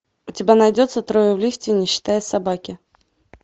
у тебя найдется трое в лифте не считая собаки